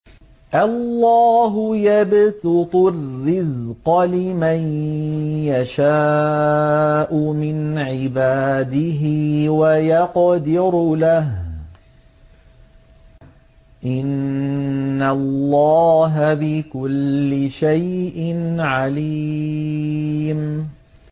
اللَّهُ يَبْسُطُ الرِّزْقَ لِمَن يَشَاءُ مِنْ عِبَادِهِ وَيَقْدِرُ لَهُ ۚ إِنَّ اللَّهَ بِكُلِّ شَيْءٍ عَلِيمٌ